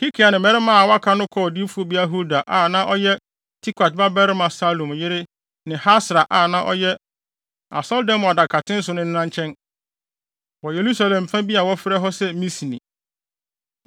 Hilkia ne mmarima a wɔaka no kɔɔ odiyifobea Hulda a na ɔyɛ Tikwat babarima Salum yere ne Hasra a na ɔhwɛ Asɔredan mu adakaten so no nena nkyɛn, wɔ Yerusalem fa bi a wɔfrɛ hɔ se Misne.